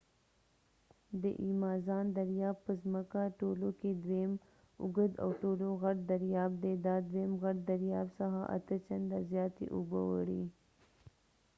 د ایمازان دریاب په زمکه ټولو کې دویم اوږد او ټولو کې غټ دریاب دی دا دویم غټ دریاب څخه 8 چنده زیاتې اوبه وړي